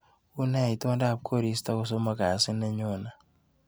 Une itondap korista kosomok kasit nenyone?